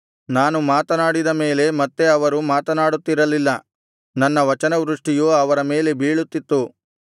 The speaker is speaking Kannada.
ನಾನು ಮಾತನಾಡಿದ ಮೇಲೆ ಮತ್ತೆ ಅವರು ಮಾತನಾಡುತ್ತಿರಲಿಲ್ಲ ನನ್ನ ವಚನವೃಷ್ಟಿಯು ಅವರ ಮೇಲೆ ಬೀಳುತ್ತಿತ್ತು